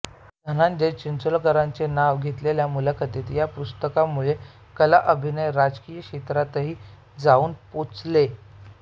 धनंजय चिंचोलीकरांचे नाव न घेतलेल्या मुलाखती या पुस्तकामुळे कला अभिनय राजकीय क्षेत्रातही जाऊन पोचले